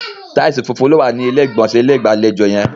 Taìsì funfun ni o wa ni ilé ìgbọ̀nsẹ̀ ilé-ìgbàlejò yẹn.